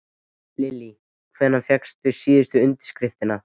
Lillý: Hvenær fékkstu síðustu undirskriftina?